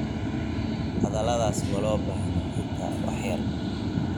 Hadhaladhas malobaxno xita wax yar.